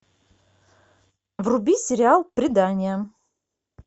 вруби сериал предание